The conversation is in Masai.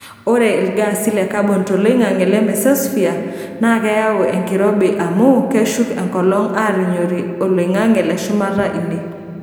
Ore ilgaasi le kabon toloingange le mesosphere naa keyau enkirobi amu keshuk enkolong aarinyoti oloingange leshumata ine.